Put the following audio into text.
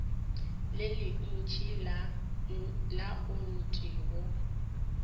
le lentši la ayotine go